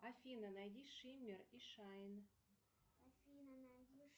афина найди шиммер и шайн